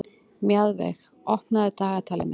Mjaðveig, opnaðu dagatalið mitt.